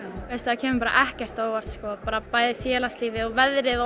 það kemur bara ekkert á óvart sko bæði félagslífið og veðrið